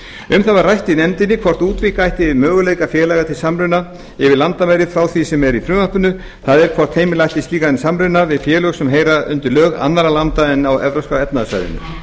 um það var rætt í nefndinni hvort útvíkka ætti möguleika félaga til samruna yfir landamæri frá því sem er í frumvarpinu það er hvort heimila ætti slíkan samruna við félög sem heyra undir lög annarra landa en á evópska efnahagssvæðinu